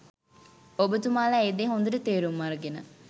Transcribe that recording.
ඔබතුමාලා ඒ දේ හොඳට තේරුම අරගෙන